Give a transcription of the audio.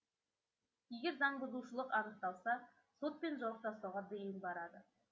егер заңбұзушылық анықталса сотпен жауып тастауға дейін барады